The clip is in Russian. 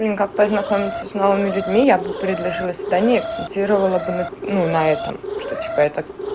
как познакомиться с новыми людьми я бы предложила свидание и акцентировала бы ну на этом что типа это